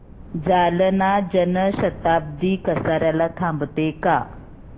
जालना जन शताब्दी कसार्याला थांबते का